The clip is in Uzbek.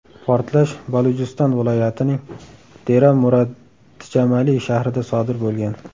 Portlash Balujiston viloyatining Dera-Murad-Djamali shahrida sodir bo‘lgan.